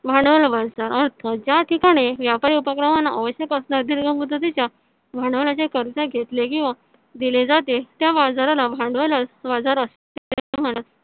भांडवल बाजाराचा अर्थ ज्या ठिकाणी व्यापारी उपक्रमांना मुदतीच्या भांडवलाचे कर्ज घेतले किंवा दिले जाते. त्या बाजाराला भांडवल बाजार असे म्हणत